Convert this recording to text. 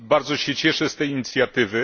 Bardzo się cieszę z tej inicjatywy.